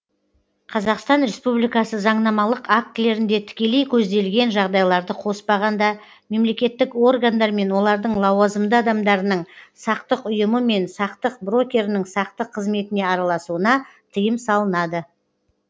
қазақстан республикасы заңнамалық актілерінде тікелей көзделген жағдайларды қоспағанда мемлекеттік органдар мен олардың лауазымды адамдарының сақтық ұйымы мен сақтық брокерінің сақтық қызметіне араласуына тыйым салынады